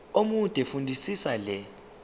omude fundisisa le